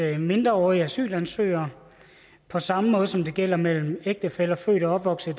at mindreårige asylansøgere på samme måde som det gælder med ægtefæller født og opvokset